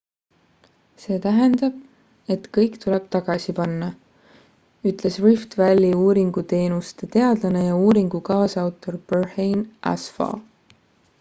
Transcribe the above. see tähendab et kõik tuleb tagasi panna ütles rift valley uuringuteenuste teadlane ja uuringu kaasautor berhane asfaw